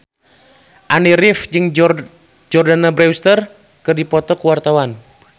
Andy rif jeung Jordana Brewster keur dipoto ku wartawan